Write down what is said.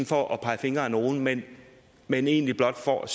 for at pege fingre ad nogen men men egentlig blot for at